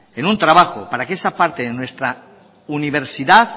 en un trabajo para que esa parte de nuestra universidad